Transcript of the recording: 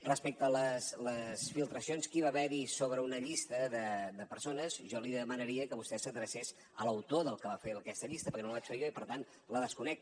respecte a les filtracions que va haver hi sobre una llista de persones jo li demanaria que vostè s’adrecés a l’autor del que va fer aquesta llista perquè no la vaig fer jo i per tant la desconec